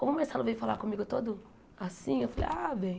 Como o Marcelo veio falar comigo todo assim, eu falei, ah, bem.